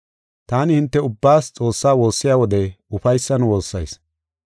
Taani hinte ubbaas Xoossaa woossiya wode ufaysan woossayis.